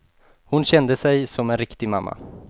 Hon kände sig som en riktig mamma.